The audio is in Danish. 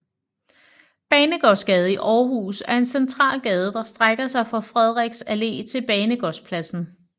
Banegårdsgade i Aarhus er en central gade der strækker sig fra Frederiks Allé til Banegårdspladsen